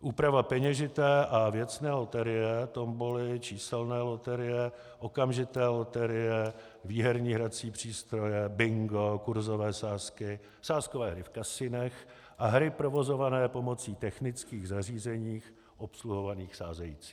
Úprava peněžité a věcné loterie, tomboly, číselné loterie, okamžité loterie, výherní hrací přístroje, bingo, kurzové sázky, sázkové hry v kasinech a hry provozované pomocí technických zařízení obsluhovaných sázejícími.